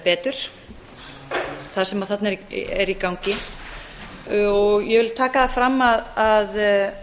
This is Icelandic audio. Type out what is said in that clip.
betur það sem þarna er í gangi ég vil taka það fram að